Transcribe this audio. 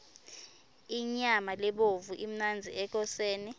inyama lebovu imnandzi ekoseni